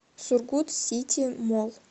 сургут сити молл